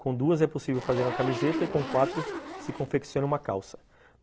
Com duas é possível fazer uma camiseta e com quatro se confecciona uma calça.